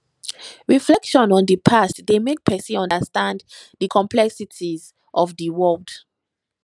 reflection on di past dey make pesin understand di complexities of di world